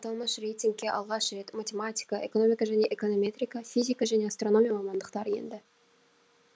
аталмыш рейтингке алғаш рет математика экономика және эконометрика физика және астрономия мамандықтары енді